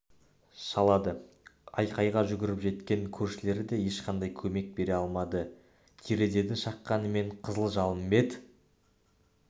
шалады айқайға жүгіріп жеткен көршілер де ешқандай көмек бере алмады терезені шаққанмен қызыл жалын бет